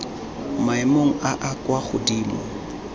maemong a a kwa godimo